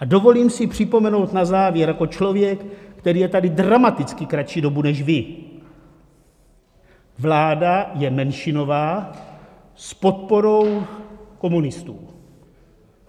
A dovolím si připomenout na závěr jako člověk, který je tady dramaticky kratší dobu než vy: vláda je menšinová s podporou komunistů.